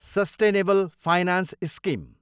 sustainable finance scheme